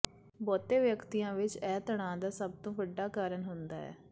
ਬਹੁਤੇ ਵਿਅਕਤੀਆਂ ਵਿੱਚ ਇਹ ਤਣਾਅ ਦਾ ਸਭ ਤੋਂ ਵੱਡਾ ਕਾਰਨ ਹੁੰਦਾ ਹੈ